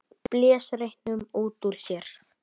Blés reyknum út úr sér.